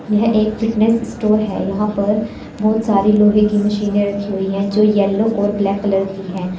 यह एक fitness store है यहां पर बहुत सारे लोहे की मशीने रखी हुई है जो येलो और ब्लैक कलर की है।